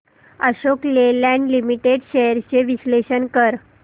Ashok Leyland limited shares चे विश्लेषण कर